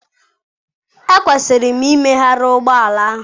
Ekwesịrị m imegharị ụgbọ ala ahụ.